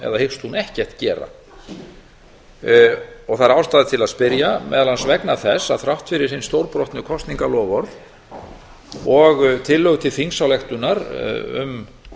eða hyggst hún ekkert gera það er ástæða til að spyrja meðal annars vegna þess að þrátt fyrir hin stórbrotnu kosningaloforð og tillögu til þingsályktunar um